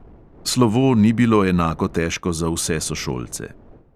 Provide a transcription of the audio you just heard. Slovo ni bilo enako težko za vse sošolce.